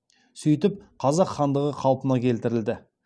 сөйтіп қазақ хандығы қалпына келтірілді